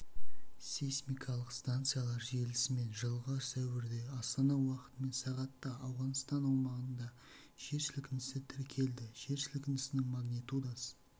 сейсмикалық станциялар желісімен жылғы сәуірде астана уақытымен сағатта ауғанстан аумағында жер сілкінісі тіркелді жер сілкінісінің магнитудасы